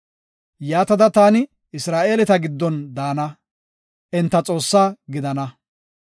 Yaatada, taani Isra7eeleta giddon daana; enta Xoossaa gidana.